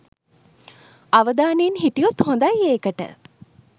අවදානයෙන් හිටියොත් හොදයි ඒකට.